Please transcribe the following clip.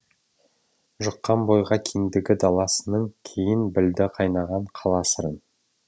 жұққан бойға кеңдігі даласының кейін білді қайнаған қала сырын